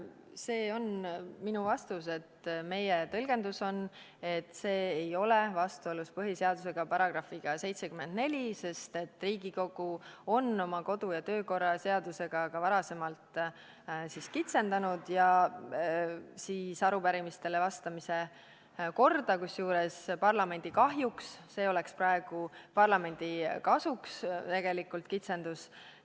See on minu vastus: meie tõlgendus on, et see ei ole vastuolus põhiseaduse §-ga 74, sest Riigikogu on oma kodu- ja töökorra seadusega ka varem kitsendanud arupärimistele vastamise korda, kusjuures parlamendi kahjuks, see kitsendus oleks praegu tegelikult parlamendi kasuks.